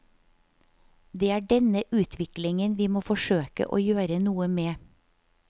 Det er denne utviklingen vi må forsøke å gjøre noe med.